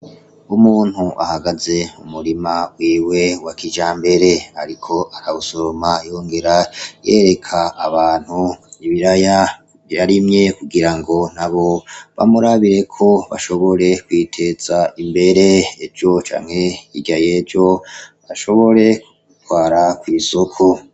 Umuntu ahagaze mu murima wiwe wa kijambere ariko arasoroma, yongera yereka abantu ibiraya byarimye kugira ngo nabo bamurabire ko bashobore kwiteza imbere, ejo canke hirya y'ejo bashobore kubitwara kw'isoko.